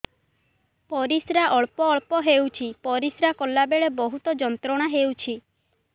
ପରିଶ୍ରା ଅଳ୍ପ ଅଳ୍ପ ହେଉଛି ପରିଶ୍ରା କଲା ବେଳେ ବହୁତ ଯନ୍ତ୍ରଣା ହେଉଛି